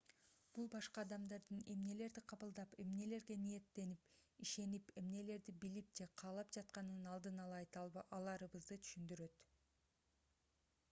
бул башка адамдардын эмнелерди кабылдап эмнелерге ниеттенип ишенип эмнелерди билип же каалап жатканын алдын ала айта аларыбызды түшүндүрөт